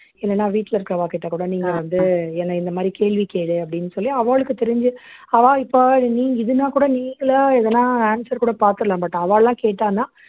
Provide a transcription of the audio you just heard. இல்லைன்னா வீட்டுல இருக்கிறவாகிட்ட கூட நீங்க வந்து என்னை இந்த மாதிரி கேள்வி கேளு அப்படின்னு சொல்லி அவாளுக்கு தெரிஞ்சு அவா இப்போ நீங் இதுன்னா கூட நீங்களே எதுனா answer கூட பார்த்துடலாம் but அவாள்லாம் கேட்டான்னா